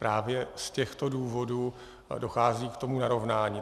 Právě z těchto důvodů dochází k tomu narovnání.